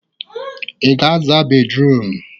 Ị ga-aza bédrụum?